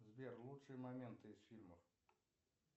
сбер лучшие моменты из фильмов